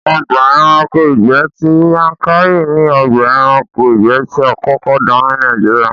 Ọgbà ẹranko ìgbẹ́ ti Yankari ni ọgbà ẹranko ìgbẹ́ tí a kọ́kọ́ dá ní Nàìjíríà